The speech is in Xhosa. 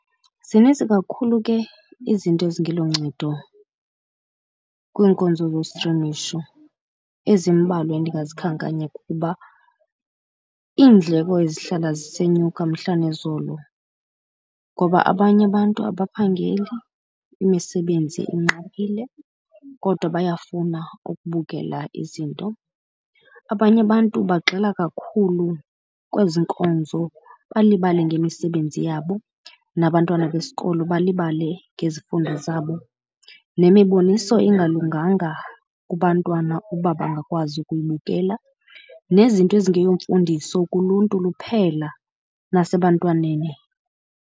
Zininzi kakhulu ke izinto ezingeloncedo kwiinkonzo zostrimisho. Ezimbalwa endingazikhankanya kukuba iindleko ezihlala zisenyuka mhla nezolo, ngoba abanye abantu abaphangeli, imisebenzi inqabile kodwa bayafuna ukubukela izinto. Abanye abantu bagxile kakhulu kwezi nkonzo balibale ngemisebenzi yabo, nabantwana besikolo balibale ngezifundo zabo. Nemiboniso ingalunganga kubantwana uba bangakwazi ukuyibukela nezinto ezingeyo mfundiso kuluntu luphela nasebantwaneni.